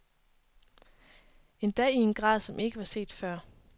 Endda i en grad, som ikke var set før.